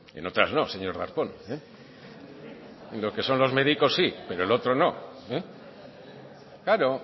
en otras no señor darpón y lo que son los médicos sí pero el otro no claro